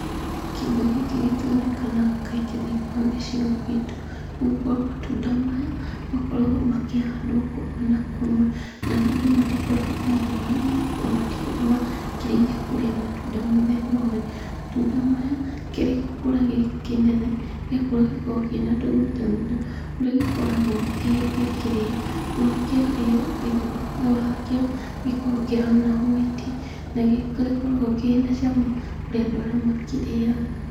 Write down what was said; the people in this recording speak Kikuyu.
Kĩndũ gĩkĩ gĩtionekaga kaingĩ thĩiniĩ wa gĩcigo gitũ, nĩgũkorwo matunda maya, makoragwo makĩhandwo kũmwe na kũmwe, na andũ matikoragwo mamoĩ, nĩgũkorwo matikoragwo mekĩrĩire kũrĩa matunda mũthemba ũyũ. Matunda maya, kĩrĩgũkũra gĩkĩnene, gĩakũra gĩkoragwo kĩna tũthunda thundo, kũrĩa gĩkoragwo gĩkĩrĩo, kĩarĩo, thĩinĩ wakĩo gĩkoragwo kĩhana hwaiti, na nĩgĩkoragwo kĩna cama kũrĩ andũ arĩa makĩrĩaga.